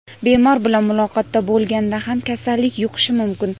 bemor bilan muloqotda bo‘lganda ham kasallik yuqishi mumkin.